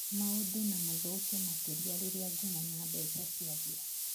Maũndu na mathũke makĩria rĩrĩa ngumo na mbeca ciathira.